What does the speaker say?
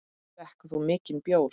Drekkur þú mikinn bjór?